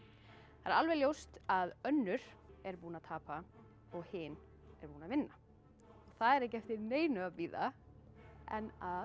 það er alveg ljóst að önnur er búin að tapa og hin er búin að vinna það er ekki eftir neinu að bíða en að